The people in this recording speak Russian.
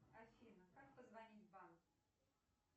афина как позвонить в банк